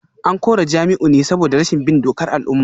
An kore Jamiu ne saboda rashin bin dokar al’umma